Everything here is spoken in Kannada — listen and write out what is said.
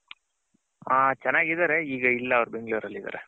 ಹ ಚೆನ್ನಗಿದರೆ ಈಗ ಇಲ್ಲ ಅವರು ಬೆಂಗಳೋರು ಅಲ್ಲಿ ಇದಾರೆ.